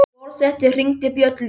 Forseti hringdi bjöllu!